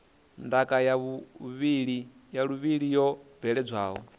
ndaka ya vhuluvhi yo bveledzwaho